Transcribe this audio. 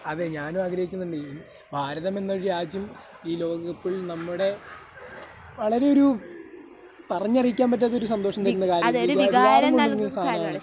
അതെ ഞാനും ആഗ്രഹിക്കുന്നുണ്ട്. ഭാരതം എന്നൊരു രാജ്യം ഈ ലോകകപ്പിൽ നമ്മുടെ, വളരെയൊരു പറഞ്ഞറിയിക്കാൻ പറ്റാത്തൊരു സന്തോഷം തരുന്നൊരു കാര്യമാണ്. ഒരു വികാരം കൊണ്ട് വരുന്നൊരു സാധനമാണ്.